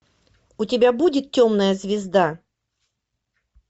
у тебя будет темная звезда